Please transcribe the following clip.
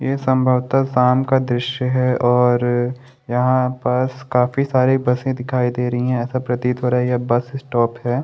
ये संभवता शाम का दृश्य है और यहाँ पर काफी सारे बसे दिखाई दे रही है ऐसा प्रतीत हो रहा है यह बस स्टॉप है।